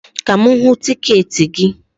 Ka m hụ tiketi gị